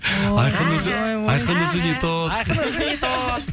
айқын уже айқын уже не то айқын уже не то